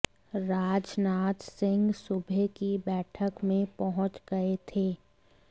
राजनाथ सिंह सुबह की बैठक में पहुंच गए थे